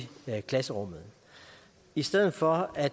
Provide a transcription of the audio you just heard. klasserummet i stedet for at